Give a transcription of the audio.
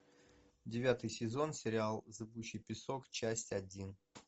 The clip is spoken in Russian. девятый сезон сериал зыбучий песок часть один